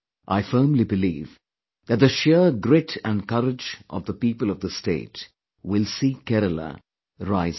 I firmly believe that the sheer grit and courage of the people of the state will see Kerala rise again